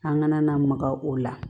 An kana na maga o la